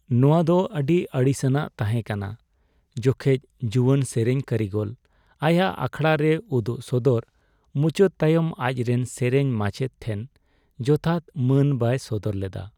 ᱱᱚᱣᱟ ᱫᱚ ᱟᱹᱰᱤ ᱟᱹᱲᱤᱥᱟᱱᱟᱜ ᱛᱟᱦᱮᱸ ᱠᱟᱱᱟ ᱡᱚᱠᱷᱮᱡ ᱡᱩᱣᱟᱹᱱ ᱥᱮᱨᱮᱧ ᱠᱟᱹᱨᱤᱜᱚᱞ ᱟᱭᱟᱜ ᱟᱠᱷᱲᱟ ᱨᱮ ᱩᱫᱩᱜ ᱥᱚᱫᱚᱨ ᱢᱩᱪᱟᱹᱫ ᱛᱟᱭᱚᱢ ᱟᱡᱨᱮᱱ ᱥᱮᱨᱮᱧ ᱢᱟᱪᱮᱫ ᱴᱷᱮᱱ ᱡᱚᱛᱷᱟᱛ ᱢᱟᱹᱱ ᱵᱟᱭ ᱥᱚᱫᱚᱨ ᱞᱮᱫᱟ ᱾